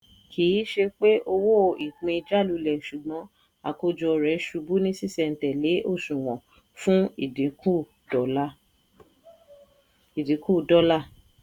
kì í ṣe pé owó ìpín jálulẹ̀ ṣùgbọ́n àkójọ rẹ̀ ṣubú ní ṣíṣẹntẹ́lẹ́ òṣùwò̀n fún ìdínkù dọ́là.